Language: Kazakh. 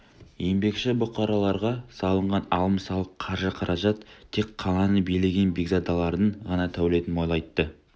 еңбекші бұқараларға салынған алым-салық қаржы-қаражат тек қаланы билеген бекзадалардың ғана дәулетін молайтты